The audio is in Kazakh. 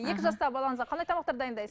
екі жастағы балаңызға қандай тамақтар дайындайсыз